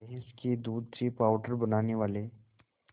भैंस के दूध से पावडर बनाने वाले